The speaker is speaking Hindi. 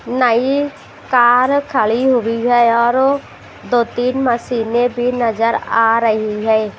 नई कार खड़ी हुई हैऔर दो-तीन मशीनें भी नजर आ रही है।